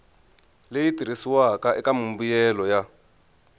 leyi tirhisiwaka eka mimbuyelo ya